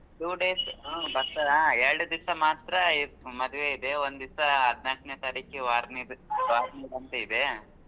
Two days ಹ್ಮ್ ಬರ್ತಾರೆ ಎರ್ಡ್ ದಿವ್ಸ ಮಾತ್ರ ಮದ್ವೆ ಇದೆ ಒಂದ್ ದಿವ್ಸ ಹದ್ನಾಲ್ಕ್ನೆ ತಾರೀಖ್ ಆರನೇ ಇದೆ.